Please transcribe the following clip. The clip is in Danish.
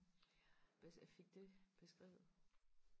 blev fik det beskrevet